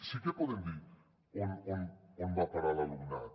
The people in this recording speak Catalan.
sí que podem dir on va a parar l’alumnat